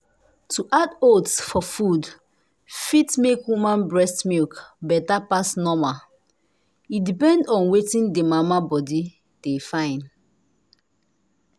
to add oats for food fit make woman breast milk better pass normal. e depend on wetin the mama body de fyn.